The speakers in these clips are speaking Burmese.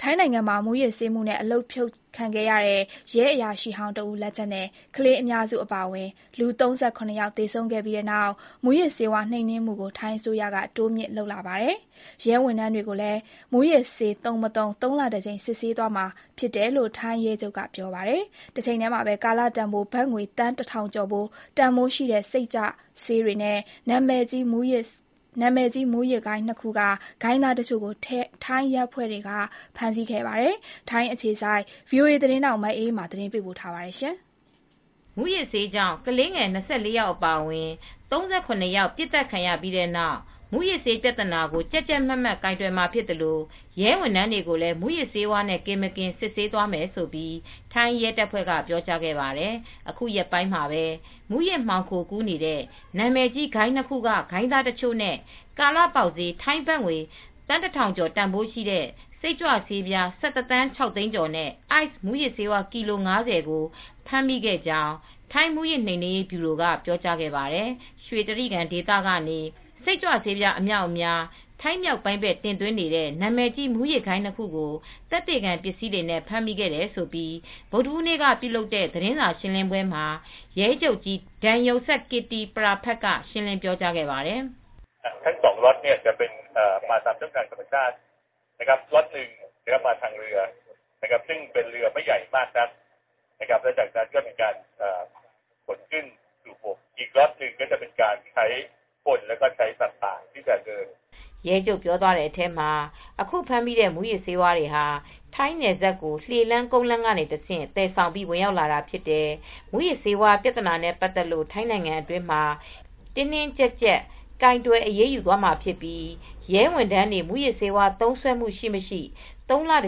ထိုင်းနိုင်ငံမှာ မူးယစ်ဆေးမှုနဲ့ အလုပ်ဖြုတ်ခံရတဲ့ ရဲအရာရှိဟောင်းတဦးလက်ချက်နဲ့ ကလေးအများစုအပါအဝင် လူ ၃၇ ယောက် သေဆုံးခဲ့ပြီးနောက် ထိုင်းအစိုးရက မူးယစ်ဆေးဝါး နှိမ်နင်းမှုတိုးမြှင့်လာပါတယ်။ ရဲဝန်ထမ်းတွေကို မူးယစ်ဆေးသုံး မသုံး ၃ လတကြိမ် ဆေးစစ်သွားမှာဖြစ်တယ်လို့ ထိုင်းရဲချုပ်က ပြောပါတယ်။ တချိန်တည်းမှာပဲ ကာလတန်ဘိုး ဘတ်ငွေ သန်း ၁,၀၀၀ ကျော်ဖိုး တန်ဖိုးရှိတဲ့ စိတ်ကြွဆေးတွေနဲ့ နာမည်ကြီးမူးယစ်ဂိုဏ်း ၂ ခုက ဂိုဏ်းသားတချို့ကို ထိုင်းရဲတပ်ဖွဲ့က ဖမ်းမိခဲ့ပါတယ်။ ထိုင်းအခြေစိုက် ဗွီအိုအေသတင်းထောက် မအေးအေးမာ သတင်းပေးပို့ ထားပါတယ်။ မူးယစ်ဆေးကြောင့် ကလေးငယ် ၂၄ ယောက်အပါအဝင် ၃၇ ယောက် ပစ်သတ်ခံခဲ့ရပြီးနောက် မူးယစ်ဆေးပြဿနာကို ကြပ်ကြပ်မတ်မတ် ကိုင်တွယ်မှာဖြစ်သလို ရဲဝန်ထမ်းတွေကိုလည်း မူးယစ်ဆေးဝါးနဲ့ ကင်း မကင်း သုံးလတကြိမ် စစ်ဆေးသွားမယ်လို့ ထိုင်းရဲတပ်ဖွဲ့က ပြောကြားခဲ့ပါတယ်။ အခုရက်ပိုင်းမှာပဲ နာမည်ကြီး မူးယစ်မှောင်ခိုဂိုဏ်း ၂ ခုက ဂိုဏ်းသားတချို့၊ ကာလပေါက်ဈေး ထိုင်းဘတ်ငွေ သန်း ၁ ထောင်ကျော်တန်ဖိုးရှိတဲ့ စိတ်ကြွဆေးပြား ၁၁ သန်း ၆ သိန်းကျော်နဲ့ ICE မူးယစ်ဆေး ကီလို ၅၀ တို့ကို ဖမ်းဆီးရမိခဲ့ကြောင်း ထိုင်းမူးယစ်နှိမ်နှင်းရေးဗျူရိုက ပြောကြားခဲ့ပါတယ်။ ရွှေတြိဂံဒေသကနေ စိတ်ကြွဆေးအမြောက်အများ ထိုင်းမြောက်ပိုင်းဘက် တင်သွင်းနေတဲ့ နာမည်ကြီး မူယစ်းဂိုဏ်းနှစ်ခုကို သက်သေခံပစ္စည်းတွေနဲ့ ဖမ်းမိခဲ့တယ်လို့ ဗုဒ္ဓဟူးနေ့က ပြုလုပ်တဲ့ သတင်းစာရှင်းပွဲမှာ ရဲချုပ်ကြီး Damrongsak Kittipraphat (ဒန်ရုံစပ် ကစ်တီပရာဖတ်) က ရှင်းလင်းပြောကြားခဲ့ပါတယ်။ ရဲချုပ်ပြောသွားတဲ့အထဲမှာ “အခုဖမ်းမိတဲ့ မူးယစ်ဆေးတွေဟာ ထိုင်းနယ်စပ်ကို လှေလမ်း၊ ကုန်လမ်းနဲ့ တဆင့်ဆီသယ်ဆောင်ပြီး ဝင်ရောက်လာတာဖြစ်တယ် မူးယစ်ဆေးဝါးပြသနာနဲ့ ပတ်သက်လို့ ထိုင်းနိုင်ငံအတွင်းမှာ တင်းတင်းကြပ်ကြပ် ကိုင်တွယ်အရေးယူမှာဖြစ်ပြီး ရဲဝန်ထမ်းတွေ မူးယစ်ဆေးဝါးသုံးစွဲမှုရှိမရှိ သုံးလတ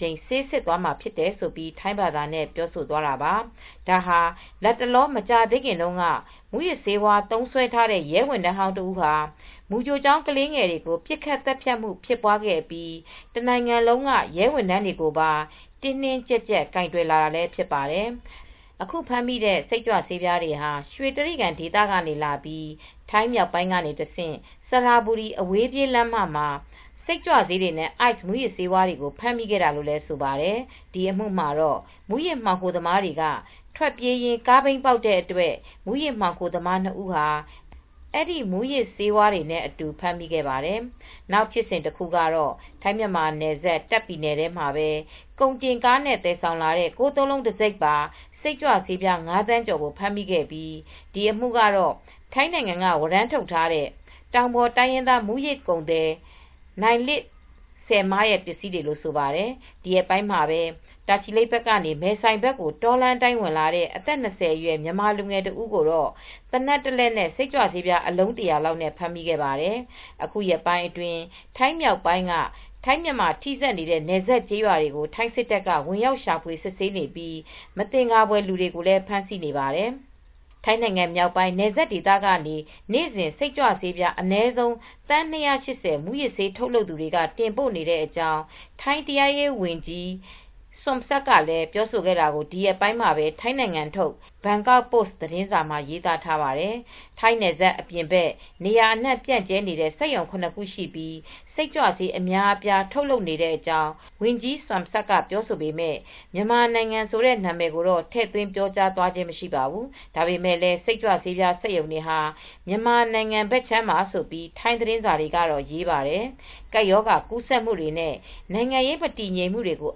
ကြိမ်ဆေးစစ်သွားမှာဖြစ်တယ်” လို့ထိုင်းဘာသာနဲ့ပြောသွားတာပါ။ ပြီးခဲ့တဲ့ သီတင်းပတ်က မူးယစ်ဆေးမှုနဲ့ ရာထူးကနေဖယ်ရှားခံထားရတဲ့ ရဲတပ်ဖွဲ့ဝင်ဟောင်းတယောက်က မူးယစ်ဆေးသုံးပြီး မူူကြိုကျောင်းထဲဝင်ရောက်ပစ်ခတ်ခဲ့လို့ ကလေးငယ် ၂၀ ကျော်သေဆုံးခဲ့ရပြီးနောက်မှာ တနိုင်ငံလုံးက ရဲဝန်ထမ်းတွေကို မူးယစ်ဆေးနဲ့ပတ်သက်လို့ အခုလို တင်းကြပ်လာတာဖြစ်ပါတယ်။ အခုနောက်ဆုံးဖမ်းမိတဲ့စိတ်ကြွဆေးတွေဟာ ရွှေတြိဂံဒေသကနေဝင်လာတာဖြစ်ပြီး ထိုင်းမြောက်ပိုင်းကဆင့် စရဘူရီ အဝေးပြေးလမ်းမမှာ စိတ်ကြွဆေးတွေနဲ့ Ice မူးယစ်ဆေးတွေကိုဖမ်းမိခဲ့တာလို့လည်းဆိုပါတယ်။ ဒီအမှုမှာတော့ မူးယစ်မှောင်ခိုသမားတွေက ထွက်ပြေးရင်း ကားဘီးပေါက်တဲ့အတွက် မူးယစ်မှောင်ခိုသမား ၂ ဦးနဲ့အတူ အဲဒီမူးယစ်ဆေးဝါးတွေကို ဖမ်းမိခဲ့ပါတယ်။ နောက်ဖြစ်စဉ်တခုကတော့ ထိုင်းမြန်မာနယ်စပ် တာ့ခ်ပြည်နယ်ထဲမှာ ကုန်တင်ကားနဲ့သယ်ဆောင်လာတဲ့ ၉၉၉ တံဆိပ် စိတ်ကြွဆေး ၅ သန်းကျော် ဖမ်းမိခဲ့တာဖြစ်ပါတယ်။ ဒီအမှုကပစ္စည်းတွေဟာ ထိုင်းနိုင်ငံကဝရမ်းထုတ်ထားတဲ့ တောင်ပေါ်တိုင်းရင်းသား မူးယစ်ကုန်သည် နိုင်လစ်စယ်မားရဲ့ပစ္စည်းတွေလို့ ပြောပါတယ်။ ဒီရက်ပိုင်းမှာပဲ တာချီလိတ်ကနေ မဲဆိုင်ဘက်ကို တောလမ်းအတိုင်းဝင်လာတဲ့ အသက်၂၀ အရွယ်မြန်မာလူငယ်တဦးကိုလည်း သေနတ်တလက်နဲ့ စိတ်ကြွဆေအလုံး ၁၀၀ လောက်နဲ့အတူ ဖမ်းဆီးခဲ့ပါတယ်။ အခုရက်ပိုင်းအတွင်း ထိုင်းမြောက် ပိုင်းက ထိုင်းမြန်မာထိစပ်နေတဲ့နယ်စပ်ကျေးရွာတွေကို ထိုင်းစစ်တပ်က ဝင်ရောက် ရှာဖွေ စစ်ဆေးနေပြီး မသင်္ကာဖွယ်လူတွေကိုလည်း ဖမ်းဆီးနေပါတယ်။ ထိုင်းနိုင်ငံမြောက်ပိုင်း နယ်စပ်ဒေသကနေ နေ့စဉ် စိတ်ကြွဆေးပြား အနည်းဆုံး သန်း ၂၈၀ မူးယစ်ဆေးထုတ်လုပ်သူတွေ တင်ပို့နေတဲ့အကြောင်း ထိုင်း တရားရေး ဝန်ကြီး Somsak Thepsutin ပြောတာကို ဒီရက်ပိုင်းမှာပဲ ထိုင်းနိုင်ငံထုတ် ဘန်ကောက်ပို့စ် သတင်းစာမှာ ရေးသားထားပါတယ်။ ထိုင်းနယ်စပ်အပြင်ဘက် နေရာအနှံ့ ပြန့်ကျဲနေတဲ့ မူးယစ်စိတ်ကြွဆေးတွေထုတ်နေတဲ့စက်ရုံ ၇ ခုရှိပြီး စိတ်ကြွဆေး အများအပြား ထုတ်လုပ်နေကြောင်း ဝန်ကြီး Somsak ကပြောပေမယ့် မြန်မာနိုင်ငံ ဆိုတဲ့ နာမည်ကို ထည့်သွင်းပြောကြားခဲ့ခြင်းတော့ မရှိပါဘူး။ ဒါပေမယ့်လည်း စိတ်ကြွဆေးပြား စက်ရုံတွေဟာ မြန်မာနိုင်ငံဘက်ခြမ်းမှာလို့ ထိုင်းသတင်းစာက ရေးပါတယ်။ ကပ်ရောဂါကူးစက်မှုတွေနဲ့ နိုင်ငံရေး မတည်ငြိမ်မှုတွေကို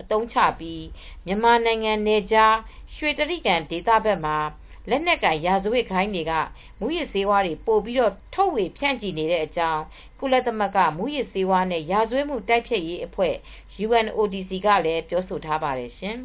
အသုံးချပြီး မြန်မာနိုင်နယ်ခြား ရွှေတြိဂံနယ်ဘက်မှာ လက်နက်ကိုင် ရာဇဝတ်ဂိုဏ်းတွေက မူးယစ်ဆေးတွေ ပိုပြီး ထုတ်ဝေဖြန့်ချီနေတဲ့အကြောင်း ကုလသမဂ္ဂ မူးယစ်ဆေးနဲ့ ရာဇဝတ်မှု တိုက်ဖျက်ရေးအဖွဲ့ UNODC ကလည်းပြောဆိုထားပါတယ်ရှင်။